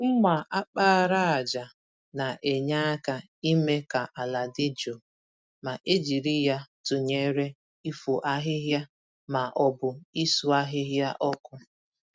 mma àkpàràjà na-enye aka ime ka àlà dị jụụ, ma e jiri ya tụnyere ifo ahịhịa ma ọ bụ isu ahịhịa ọkụ.